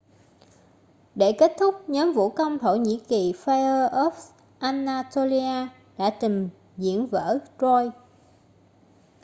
để kết thúc nhóm vũ công thổ nhĩ kỳ fire of anatolia đã trình diễn vở troy